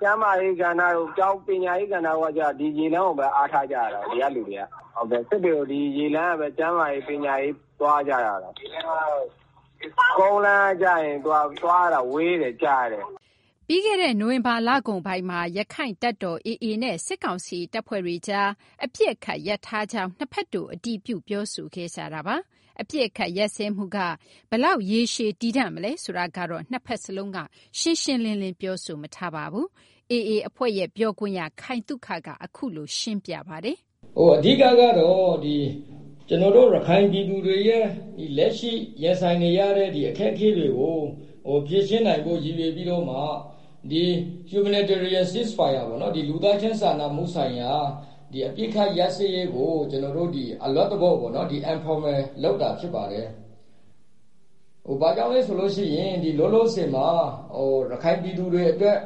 ကျန်းမာရေး ကဏ္ဍတို့၊ ပညာရေး ကဏ္ဍတို့က ကျတော့ ဒီ ရေလမ်းကိုဘဲ အားထားကြရတာကိုး။ ဒီက လူတွေက။ စစ်တွေကို ဒီက ကျန်းမာရေး၊ ပညာရေး သွားကြရတာကိုး။ ကုန်းလမ်းက ကျရင် သူက သွားရတာ ဝေးတယ်။ ကြာတယ်။ ” ပြီးခဲ့တဲ့ နိုဝင်ဘာ လကုန်ပိုင်းမှာ ရခိုင့်တပ်တော် AA နဲ့ စစ်ကောင်စီ တပ်ဖွဲ့တွေကြား အပစ်အခတ် ရပ်ထားကြောင်း နှစ်ဘက်တို့ အတည်ပြု ပြောဆိုခဲ့ကြတာပါ။ အပစ်အခတ် ရပ်စဲမှုက ဘယ်လောက် ရေရှည် တည်တံ့မလဲ ဆိုတာကိုတော့ နှစ်ဘက်စလုံးက မပြောပါဘူး။ AA အဖွဲ့ ပြောခွင့်ရ ခိုင်သုခက အခုလို ပြောပါတယ်။ “ အဓိက ကတော့ ကျနော်တို့ ရခိုင်ပြည်သူတွေရဲ့ လက်ရှိ ရင်ဆိုင်နေရတဲ့ အခက်အခဲတွေကို ဖြေရှင်းနိုင်ဖို့ ရည်ရွယ်ပြီးတော့မှ Humanitarian Ceasefire ပေါ့နော် လူသားချင်း စာနာမှု ဆိုင်ရာ အပစ်အခတ် ရပ်စဲရေးကို ကျနော်တို့ ဒီ အလွတ်သဘောပေါ့နော် informal လုပ်တာ ဖြစ်ပါတယ်။ ” “ ဘာကြောင့်လဲ ဆိုလို့ ရှိရင် ဒီ လောလောဆယ်မှာ ရခိုင်ပြည်သူတွေ အတွက်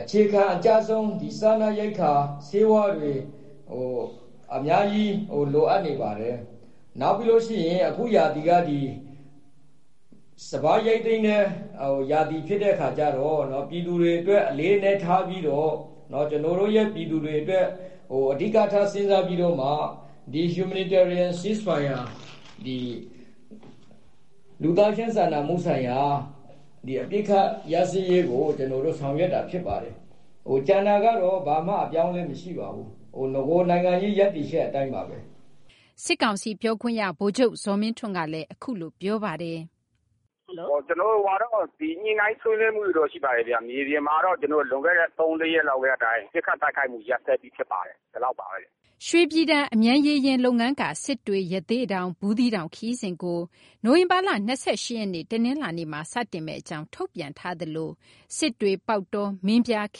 အခြေခံ အကျဆုံး စားနပ်ရိက္ခာ ၊ ဆေးဝါးတွေ အများကြီး လိုအပ်နေပါတယ်။ နောက်ပြီးတော့ အခုရာသီက ဒီ စပါး ရိတ်သိမ်းတဲ့ ရာသီ ဖြစ်တဲ့ အခါကျတော့ ပြည်သူတွေ အတွက် အလေးအနက် ထားပြီးတော့၊ ကျနော်တို့ရဲ့ ပြည်သူတွေ အတွက် အဓိကထား စဉ်းစားပြီးတော့ ဒီ Humanitarian Ceasefire လူသားချင်း စာနာမှု ဆိုင်ရာ အပစ်အခတ် ရပ်စဲရေးကို ကျနော်တို့ ဆောင်ရွက်တာ ဖြစ်ပါတယ်။ ကျန်တာကတော့ ဘာမှ အပြောင်းအလဲ မရှိပါဘူး။ နဂို နိုင်ငံရေး ရပ်တည်ချက် အတိုင်းပါဘဲ။ ” စစ်ကောင်စီ ပြောခွင့်ရ ဗိုလ်ချုပ် ဇော်မင်းထွန်းကလည်း အခုလို ပြောပါတယ်။ “ ကျနော်တို့ ညှိနှိုင်း ဆွေးနွေးမှုတွေတော့ ရှိပါတယ်ဗျ။ မြေပြင်မှာတော့ လွန်ခဲ့တဲ့ ၃- ၄ ရက် ကတည်းက ပစ်ခတ် တိုက်ခိုက်မှု ရပ်စဲပြီး ဖြစ်ပါတယ်။ ” ရွှေပြည်တန် အမြန်ရေယာဉ် လုပ်ငန်းက စစ်တွေ၊ ရသေ့တောင်၊ ဘူးသီးတောင် ခရီးစဉ်ကို နိုဝင်ဘာလ ၂၈ ရက်နေ့ တနလာၤနေ့မှာ စတင်မယ့် အကြောင်း ထုတ်ပြန်ထားသလို စစ်တွေ- ပေါက်တော - မင်းပြား ခ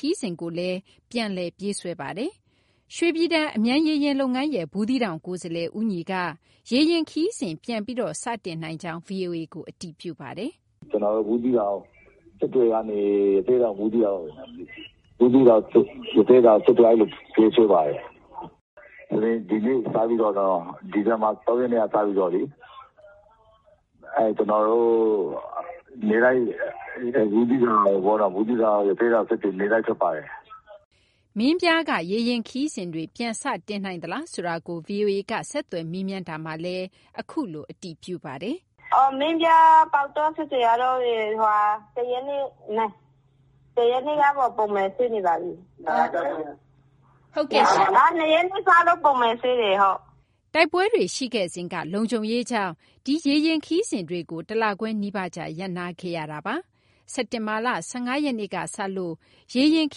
ရီးစဉ်ကိုလည်း ပြန်လည် ပြေးဆွဲနေပါတယ်။ ရွှေပြည်တန် အမြန်ရေယာဉ် လုပ်ငန်းရဲ့ ဘူးသီးတောင် ကိုယ်စားလှယ် ဦးညီက ရေယာဉ် ခရီးစဉ် ပြန်လည် စတင်ကြောင်း ဗွီအိုအေကို အတည်ပြုပါတယ်။ “ ကျနော်တို့ ဘူးသီးတောင်။ စစ်တွေကနေ ရသေ့တောင်- ဘူးသီးတောင်၊ ဘူးသီးတောင်- ရသေ့တောင်- စစ်တွေ အဲလို ပြေးဆွဲပါတယ်။ ဒီဇင်ဘာ ၃ ရက်နေ့က စပြီးတော့လေ ကျနော်တို့ ဘူးသီးတောင်- ရသေ့တောင်- စစ်တွေ နေ့တိုင်း ထွက်ပါတယ်။ ” မင်းပြားက ရေယာဉ် ခရီးစဉ်တွေ ပြန်စတင်နိုင်သလားဆိုတာကို ဗွီအိုအေက ဆက်သွယ် မေးမြန်းတာမှာလည်း အခုလို အတည်ပြုပါတယ်။ “မင်းပြား - ပေါက်တော- စစ်တွေက ၁ ရက်နေ့က နေ ပုံမှန် ဖြစ်နေပါပြီ။ ၂ ရက်နေ့ စလို့ ပုံမှန်ဆင်းတယ်။ ” တိုက်ပွဲတွေ ရှိခဲ့စဉ်က လုံခြုံရေးကြောင့် ဒီ ရေယာဉ် ခရီးစဉ်တွေကို တလခွဲ နီးပါးကြား ရပ်နားခဲ့ရတာ ဖြစ်ပါတယ်။ စက်တင်ဘာလ ၁၅ ရက်နေ့က စလို့ ရေယာဉ် ခ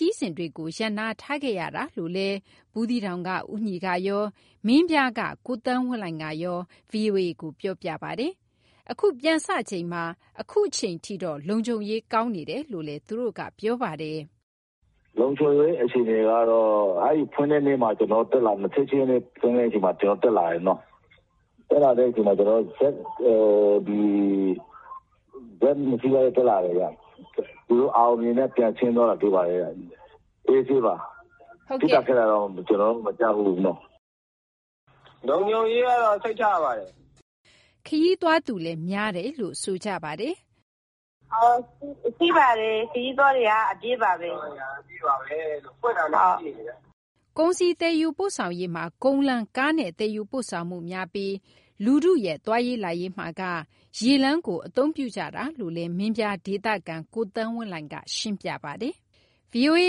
ရီးစဉ်တွေကို ရပ်နားထားခဲ့ရတာလို့လည်း ဘူးသီးတောင်က ဦးညီကရော မင်းပြားက ကိုသန်းဝင်းလှိုင်ကရော ဗွီအိုအေကို ပြောပြပါတယ်။ အခုပြန်စချိန်မှာ အခုအချိန်ထိတော့ လုံခြုံရေး အဆင်ပြေတယ်လို့လည်း သူတို့က ပြောပါတယ်။ “ လုံခြုံရေး အခြေအနေကတော့ အဲဒီ ဖွင့်တဲ့ နေ့မှာ ကျနော်တို့ တက်လာတယ်။ ချက်ချင်းဘဲ ဖွင့်တဲ့နေ့မှာ ကျနော်တို့ တက်လာတယ်။ ဇက် ၂ စီးလောက် တက်လာတယ်ဗျ။ သူတို့ အောင်အောင်မြင်မြင်နဲ့ ပြန်ဆင်းသွားတာ တွေ့ပါတယ်။ အေးဆေးပါ။ ပစ်တာ ခတ်တာတော့ ကျနော်တို့ မကြားဖူးနော်။ ” “ လုံခြုံရေးကတော့ စိတ်ချရပါတယ်။” ခရီးသွားသူလည်း များတယ်လို့ ဆိုကြပါတယ်။ “ ရှိပါတယ်။ ခရီးသွားတွေက အပြည့်ပါဘဲ။ ” “ ခရီးသွားတွေက အပြည့်ပါဘဲ။ ဖွင့်တာနဲ့ အပြည့်ပါဘဲ။ ” ကုန်စည် သယ်ယူပို့ဆောင်ရေးမှာ ကုန်းလမ်း ကားနဲ့ သယ်ယူပို့ဆောင်မှု များပြီး လူထုရဲ့ သွားရေး လာရေးမှာက ရေလမ်းကို အသုံးပြုကြတာလို့လည်း မင်းပြား ဒေသခံ ကိုသန်းဝင်းလှိုင် က ရှင်းပြပါတယ်။ ဗွီအိုအေ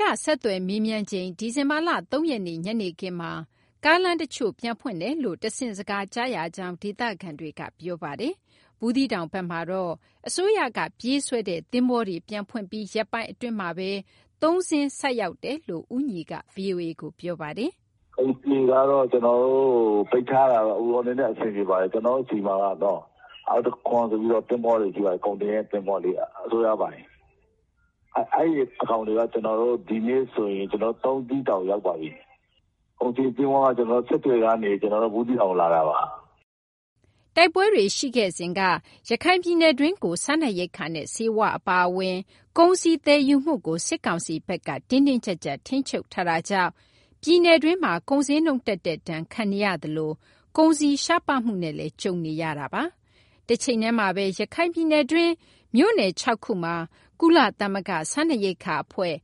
က ဆက်သွယ် မေးမြန်းချိန် ဒီဇင်ဘာလ ၃ ရက်နေ့ ညနေခင်းမှာ ကားလမ်း တချို့ ပြန်ဖွင့်တယ်လို့ တဆင့် စကား ကြရကြောင်း ဒေသခံတွေက ပြောကြပါတယ်။ ဘူးသီးတောင်ဘက်မှာတော့ အစိုးရက ပြေးဆွဲတဲ့ သဘောၤတွေ ပြန်ဖွင့်ပြီး ရက်ပိုင်း အတွင်းမှာဘဲ သုံးစင်း ဆိုက်တယ်လို့ ဦးညီက ဗွီအိုအေကို ပြောပါတယ်။ “ ကျနော်တို့ ဆီမှာက အောင်တံခွန် ဆိုပြီး သဘောၤတွေ ရှိပါတယ်။ ကုန်တင်တဲ့ သဘောၤတွေ။ အစိုးရပိုင်။ အဲဒီကောင်တွေက ဒီကနေ့ ဆို ကျနော်တို့ ၃ စီးတောင် ရောက်ပါပြီ။ ကုန်စည် သဘောၤက ကျနော်တို့ စစ်တွေကနေ ဘူးသီးတောင်ကို လာတာပါ။ ” တိုက်ပွဲတွေ ရှိခဲ့စဉ်က ရခိုင်ပြည်နယ်တွင်းကို စားနပ်ရိက္ခာနဲ့ ဆေးဝါး အပါအဝင် ကုန်စည် သယ်ယူမှုကို စစ်ကောင်စီဘက်က တင်းတင်းကျပ်ကျပ် ထိန်းချုပ်ထားတာကြောင့် ပြည်နယ်တွင်းမှာ ကုန်ဈေးနှုန်းတက်တဲ့ ဒဏ်ခံနေရသလို ကုန်စည် ရှားပါးမှုနဲ့လည်း ကြုံနေရတာပါ။ တချိန်တည်းမှာဘဲ ရခိုင်ပြည်နယ်တွင်း မြို့နယ် ၆ ခုမှာ ကုလသမဂ္ဂ စားနပ်ရိက္ခာ အဖွဲ့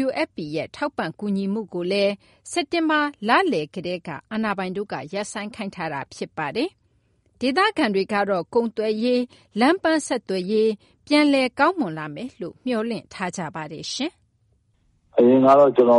WFP ရဲ့ ထောက်ပံ့ ကူညီမှုကိုလည်း စက်တင်ဘာ လလယ်ကတည်းက အာဏာပိုင်တို့ ရပ်ဆိုင်းခိုင်းထားတာ ဖြစ်ပါတယ်။ ဒေသခံတွေကတော့ ကုန်သွယ်ရေး လမ်းပန်းဆက်သွယ်ရေး ပြန်လည် ကောင်းမွန်လာမယ်လို့ မျှော်လင့်ထားကြပါတယ်။ “ အရင်ကတော့ ကျနော်တ